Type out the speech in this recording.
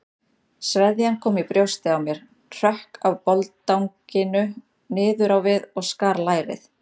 Sveðjan kom í brjóstið á mér, hrökk af boldanginu niður á við og skar lærið.